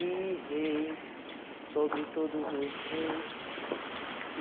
E rei sobre todos os reis. E